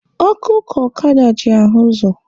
Ọkụ ka ọkada ji ahụ ụzọ